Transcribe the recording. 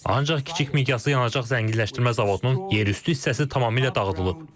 Ancaq kiçik miqyaslı yanacaq zənginləşdirmə zavodunun yerüstü hissəsi tamamilə dağıdılıb.